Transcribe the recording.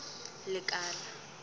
lekala